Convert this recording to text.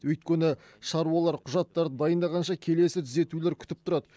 өйткені шаруалар құжаттарды дайындағанша келесі түзетулер күтіп тұрады